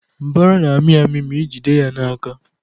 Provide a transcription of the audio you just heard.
Mbara na-ami ami ma ijide ya n'aka